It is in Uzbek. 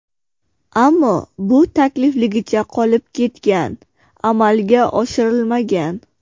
Ammo bu taklifligicha qolib ketgan, amalga oshirilmagan.